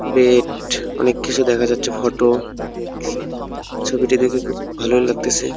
অনেককিছু দেখা যাচ্ছে ফটো ছবিটি দেখে খুব ভালই লাগতেছে।